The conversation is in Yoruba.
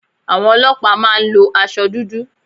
Àwọn ọlọ́pàá má a ń lo asọ dúdú